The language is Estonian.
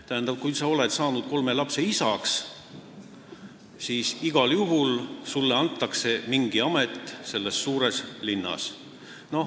Tähendab, kui sa olid saanud kolme lapse isaks, siis igal juhul anti sulle mingi amet selles suures linnas.